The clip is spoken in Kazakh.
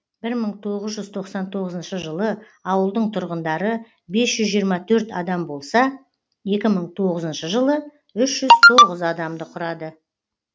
бір мың тоғыз жүз тоқсан тоғызыншы жылы ауылдың тұрғындары бес жүз жиырма төрт адам болса екі мың тоғызыншы жылы үш жүз тоғыз адамды құрады